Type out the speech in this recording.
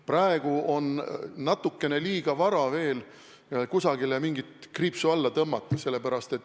Praegu on natukene liiga vara kusagile mingit kriipsu alla tõmmata.